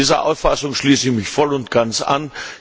Dieser Auffassung schließe ich mich voll und ganz an.